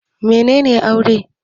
Mene ne Aure?